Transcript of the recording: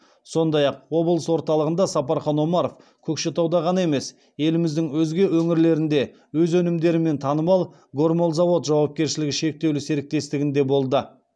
сондай ақ облыс орталығында сапархан омаров көкшетауда ғана емес еліміздің өзге өңірлерінде өз өнімдерімен танымал гормолзавод жауапкершілігі шектеулі серіктестігінде болды